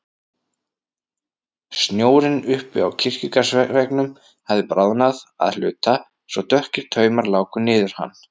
Snjórinn uppi á kirkjugarðsveggnum hafði bráðnað að hluta svo dökkir taumar láku niður hann.